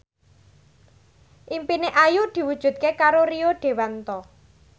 impine Ayu diwujudke karo Rio Dewanto